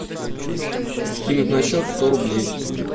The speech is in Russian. скинуть на счет сто рублей